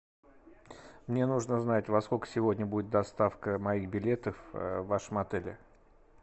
мне нужно знать во сколько сегодня будет доставка моих билетов в вашем отеле